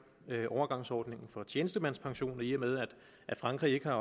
overgangsordningen for tjenestemandspensioner i og med at frankrig ikke